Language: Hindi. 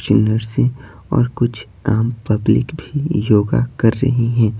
नर्से और कुछ आम पब्लिक भी योगा कर रही हैं।